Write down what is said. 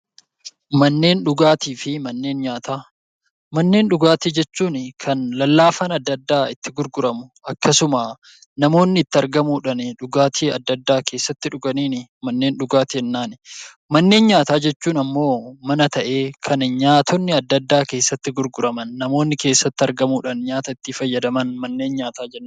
Manneen dhugaatii fi manneen nyaataa Manneen dhugaatii jechuun kan lallaafaa addaa addaa itti gurguramu, akkasuma namoonni itti argamuudhaan dhugaatii addaa addaa keessatti dhuganiin manneen dhugaatii jennaan. Manneen nyaataa jechuun immoo mana ta'ee kan nyaanni addaa addaa keessatti gurguraman namoonni keessatti argamuudhaan nyaata itti fayyadaman mana nyaataa jennaan.